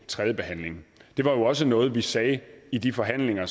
tredjebehandlingen det var jo også noget vi sagde i de forhandlinger